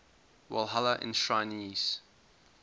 walhalla enshrinees